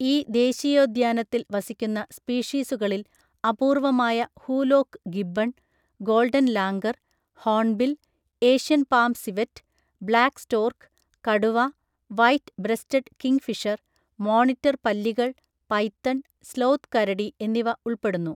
ഈ ദേശീയോദ്യാനത്തിൽ വസിക്കുന്ന സ്പീഷീസുകളിൽ അപൂർവ്വമായ hoolock gibbon, golden langur, hornbill, Asian palm civet, black stork, കടുവ, വൈറ്റ് ബ്രെസ്റ്റഡ് കിംഗ്ഫിഷർ, മോണിറ്റർ പല്ലികൾ, പൈത്തൺ, സ്ലോത്ത് കരടി എന്നിവ ഉൾപ്പെടുന്നു.